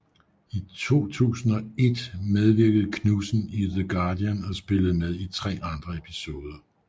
I 2001 medvirkede Knudsen i The Guardian og spillede med i tre andre episoder